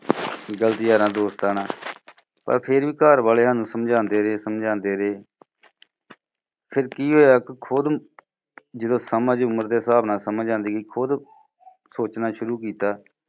ਗਲਤ ਯਾਰਾਂ ਦੋਸਤਾਂ ਨਾਲ, ਪਰ ਫਿਰ ਵੀ ਘਰ ਵਾਲੇ ਸਾਨੂੰ ਸਮਝਾਉਂਦੇ ਰਹੇ ਸਮਝਾਉਂਦੇ ਰਹੇ ਫਿਰ ਕੀ ਹੋਇਆ ਖੁਦ ਨੂੰ ਜਦੋਂ ਸਮਝ ਜਦੋਂ ਉਮਰ ਦੇ ਹਿਸਾਬ ਨਾਲ ਸਮਝ ਆਉਂਦੀ ਸੀ ਖੁਦ ਸੋਚਣਾ ਸ਼ੁਰੂ ਕੀਤਾ।